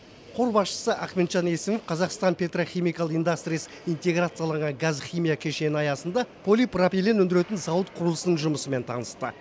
қор басшысы ахметжан есімов қазақстан пертрохимикал индастрис интеграцияланған газ химия кешені аясында полипропилен өндіретін зауыт құрылысының жұмысымен танысты